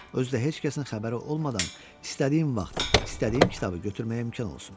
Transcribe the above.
Özü də heç kəsin xəbəri olmadan istədiyim vaxt, istədiyim kitabı götürməyə imkan olsun.